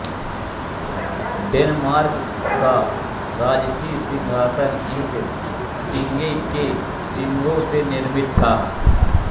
Denmark का राजसी सिंहासन इकसिंगे के सींगों से निर्मित था